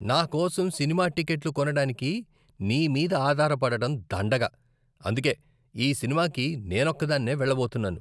నా కోసం సినిమా టిక్కెట్లు కొనడానికి నీ మీద ఆధారపడటం దండగ, అందుకే ఈ సినిమాకి నేనొక్కదాన్నే వెళ్ళబోతున్నాను.